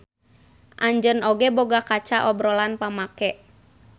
Anjeun oge boga kaca obrolan pamake.